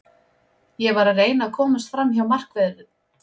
Ég var að reyna að komast framhjá markverðinum, ég missti jafnvægið.